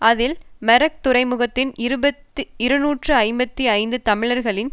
அதில் மெரக் துறைமுகத்தில் இருபத்தி இருநூற்றி ஐம்பத்தி ஐந்து தமிழர்களின்